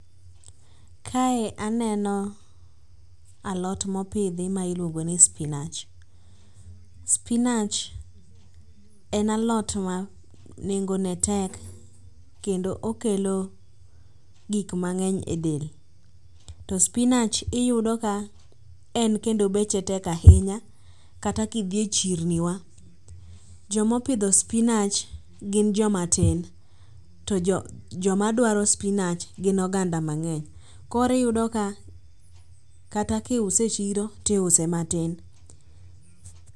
Kae aneno alot mopidhi ma ilwongo ni spinach. Spinach en alot ma nengone tek kendo okelo gik mang'eny e del. To spinach iyudo ka en kendo beche tek ahinya kata kidhi echirni wa, jomopidho spinach gin jomatin to joma dwaro spinach gin oganda mang'eny. Koro iyuo ka kata kiuse e chieo, tiuse matin.